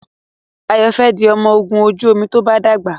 Ayo fè di ọmọ ògún ojú omi to bá dàgbà.